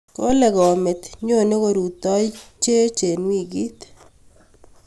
kole komet nyone korutoiyochech eng wikit